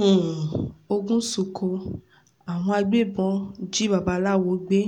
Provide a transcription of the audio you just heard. um oògùn sunko àwọn agbébọn jí babaláwo gbé